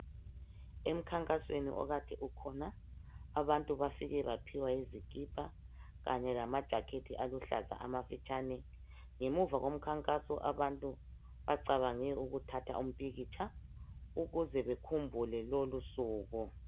Emkhankasweni okade ukhona abantu bafike baphiwa izikipa kanye lama jacket aluhlaza amafitshane ngemuva komkhankaso abantu bacabange ukuthatha umpikitsha ukuze bekhumbule lolusuku.